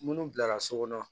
Munnu bilara so kɔnɔ